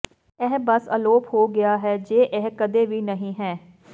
ਇਹ ਬਸ ਅਲੋਪ ਹੋ ਗਿਆ ਹੈ ਜੇ ਇਹ ਕਦੀ ਵੀ ਨਹੀਂ ਹੈ